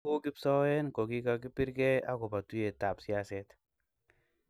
ku kipsoen kogigagibirgei agoba tuiyetab siaset